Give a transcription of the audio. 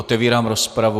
Otevírám rozpravu.